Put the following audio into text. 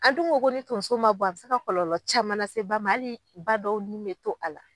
An dun ko ni tonso ma bɔ a bɛ se ka kɔlɔlɔ caman lase ba ma. Hali ni ba dɔw ni bɛ to a la.